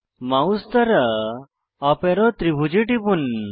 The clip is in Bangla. মাউস দ্বারা আপ অ্যারো ত্রিভুজে টিপুন